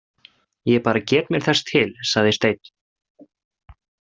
Ég bara get mér þess til, sagði Steinn.